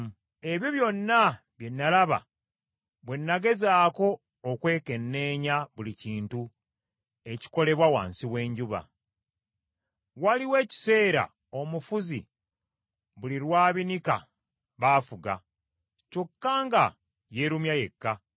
Ebyo byonna bye nalaba bwe nagezaako okwekenneenya buli kintu ekikolebwa wansi w’enjuba. Waliwo ekiseera omufuzi buli lw’abinika baafuga, kyokka nga yeerumya yekka.